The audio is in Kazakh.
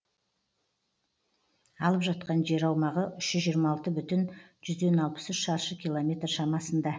алып жатқан жер аумағы үш жүз жиырма алты бүтін жүзден алпыс үш шаршы километр шамасында